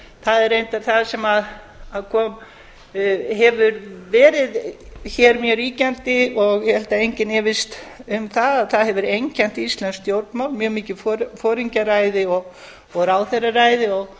það er reyndar það sem hefur verið hér mjög ríkjandi og ég held að enginn efist um að það hefur einkennt íslensk stjórnmál mjög mikið foringjaræði og ráðherraræði